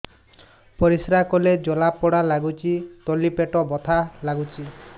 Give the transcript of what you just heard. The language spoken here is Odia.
ପରିଶ୍ରା କଲେ ଜଳା ପୋଡା ଲାଗୁଚି ତଳି ପେଟ ବଥା ଲାଗୁଛି